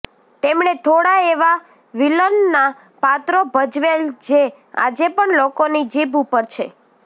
તેમણે થોડા એવા વિલનના પાત્રો ભજવેલ જે આજે પણ લોકોની જીભ ઉપર છે